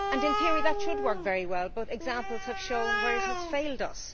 In theory, that should work very well, but examples have shown where it has failed us.